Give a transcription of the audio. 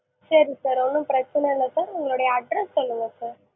சேரி sir ஒன்னும் பிரச்சனை இல்ல sir உங்களுடைய address சொல்லுங்க sir